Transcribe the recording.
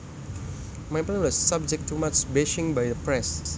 My plan was subject to much bashing by the press